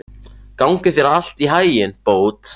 Gangi þér allt í haginn, Bót.